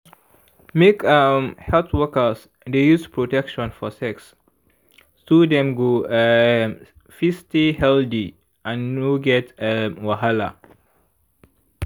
make um health workers dey use protection for sex so dem go um fit stay healthy and no get um wahala.